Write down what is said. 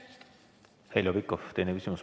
Heljo Pikhof, teine küsimus.